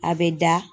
A bɛ da